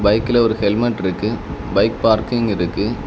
பைக்ல ஒரு ஹெல்மெட் இருக்கு பைக் பார்க்கிங் இருக்கு.